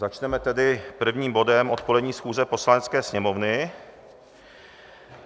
Začneme tedy prvním bodem odpolední schůze Poslanecké sněmovny.